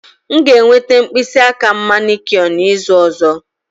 M ga-enweta mkpịsị aka m manicure n'izu ọzọ